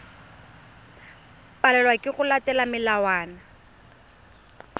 palelwa ke go latela melawana